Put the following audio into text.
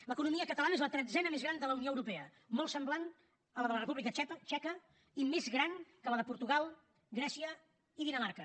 l’economia catalana és la tretzena més gran de la unió europea molt semblant a la de la república txeca i més gran que la de portugal grècia i dinamarca